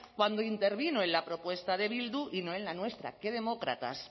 cuando intervino en la propuesta de bildu y no en la nuestra qué demócratas